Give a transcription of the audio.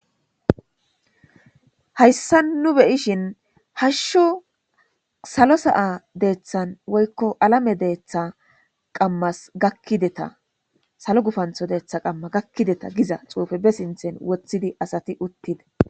Hayissan nuu be'ishshinn hashshu salo sa'a deththanni woyikko alame deththa gakkideta salo gufanththo qama deththas gakkideta Giza xuufe bee sinththanikka woththidi asati uttida .